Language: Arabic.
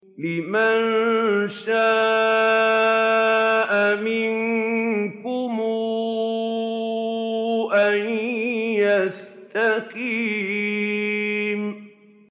لِمَن شَاءَ مِنكُمْ أَن يَسْتَقِيمَ